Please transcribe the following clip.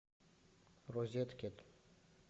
розеткед